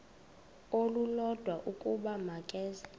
olulodwa ukuba makeze